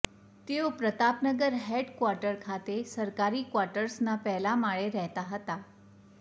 તેઓ Pratapnagar head quarter ખાતે સરકારી ક્વાટર્સના પહેલા માળે રહેતાં હતા